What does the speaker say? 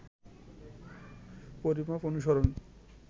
পরিমাপ অনুসরণ